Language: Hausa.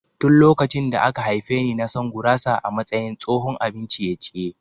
Tun lokacin da aka haife ni na san gurasa a matsayin tsohon abin ciye-ciye.